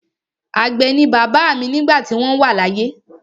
Àgbẹ̀ ni bàbá mi nígbà tí wọ́n wà láyé.